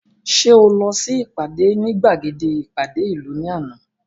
Ṣé o lọ sí ìpàdé ní gbàgede ìpàdé ìlú ní àná